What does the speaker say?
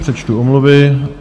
Přečtu omluvy.